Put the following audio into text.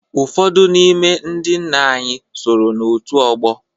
Ụfọdụ n'ime ndị nna anyị soro n'òtù ọgbọ.